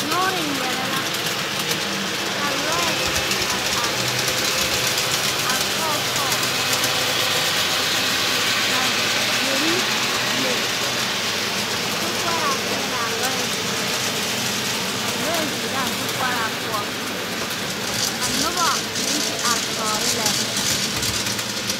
Nyoore neŋ ŋmeԑlԑ la, ka lͻԑ are are, a sͻͻ sͻͻ, ka derri le. Ka sokoͻraa peԑlaa lͻԑ zie na, ka lͻԑ zoro a sokoͻraa poͻ. Ka noba meŋ te are tͻͻre lԑ.